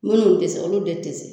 Munnu ti se olu de ti se